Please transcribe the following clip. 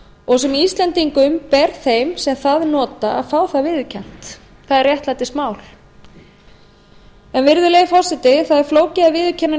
og sem íslendingum ber þeim sem það nota að fá það viðurkennt það er réttlætismál virðulegi forseti það er flókið að viðurkenna